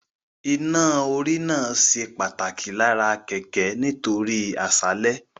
Iná-orí náà ṣe pàtàkì lára kẹ̀kẹ́ nítorí àṣálẹ́